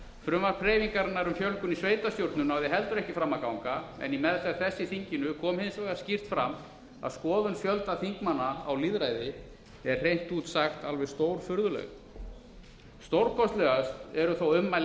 frumvarp hreyfingarinnar um fjölgun í sveitarstjórnum náði heldur ekki fram að ganga en í meðferð þess í þinginu kom hins vegar skýrt fram að skoðun fjölda þingmanna á lýðræði er hreint út sagt alveg stórfurðuleg stórkostlegust eru þó ummæli